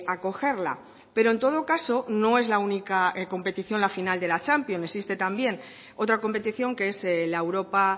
acogerla pero en todo caso no es la única competición la final de la champions existe también otra competición que es la europa